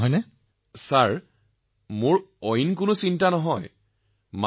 মহোদয় আমি চিন্তা নকৰো